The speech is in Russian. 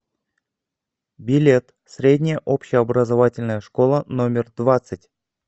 билет средняя общеобразовательная школа номер двадцать